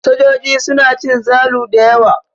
Sojoji suna cin zalu da yawa.